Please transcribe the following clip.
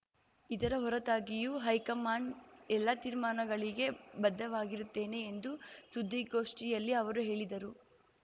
ಇದರ ಹೊರತಾಗಿಯೂ ಹೈಕಮಾಂಡ್‌ ಎಲ್ಲ ತೀರ್ಮಾನಗಳಿಗೆ ಬದ್ಧವಾಗಿರುತ್ತೇನೆ ಎಂದು ಸುದ್ದಿಗೋಷ್ಠಿಯಲ್ಲಿ ಅವರು ಹೇಳಿದರು